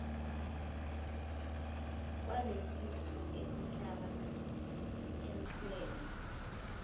kwalelisu elihlaba umxhwele